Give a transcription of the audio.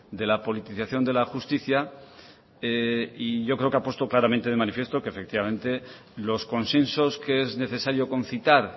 de la politización de la justicia y yo creo que ha puesto claramente de manifiesto que efectivamente los consensos que es necesario concitar